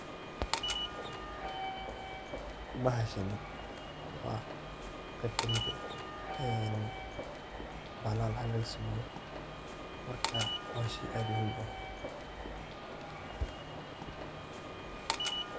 Bahashani waa qeb kamiid eh ee bahalaha lacag laga sameyo marka hoshi aad u muhiim u eh.